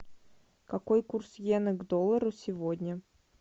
какой курс йены к доллару сегодня